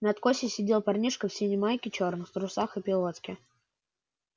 на откосе сидел парнишка в синей майке черных трусах и пилотке